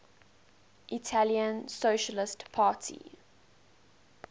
italian socialist party